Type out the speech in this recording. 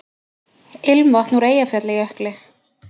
Ilmvatn úr Eyjafjallajökli